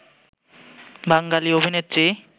বাঙালি অভিনেত্রী